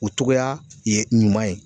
O cogoya ye ɲuman ye.